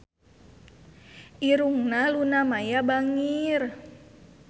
Irungna Luna Maya bangir